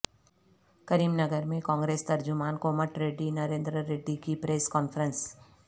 کریم نگر میں کانگریس ترجمان کومٹ ریڈی نریندر ریڈی کی پریس کانفرنس